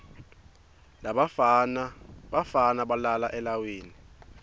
bafana balala eleiwini